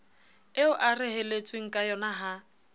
eo a reheletsweng kayona ha